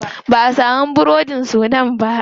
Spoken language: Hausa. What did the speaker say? Ba'a samu burodin sudan ba.